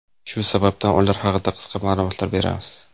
Shu sababdan ular haqida qisqa ma’lumotlar beramiz.